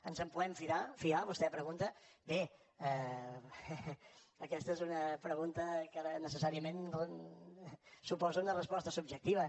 ens en podem fiar vostè pregunta bé aquesta és una pregunta que necessàriament suposa una resposta subjectiva